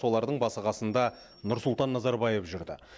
солардың басы қасында нұрсұлтан назарбаев жүрді